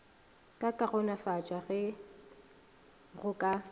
ka kaonafatšwa ge go ka